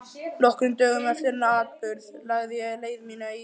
Nokkrum dögum eftir þennan atburð lagði ég leið mína í